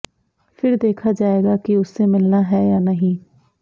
फिर देखा जाएगा कि उससे मिलना है या नहीं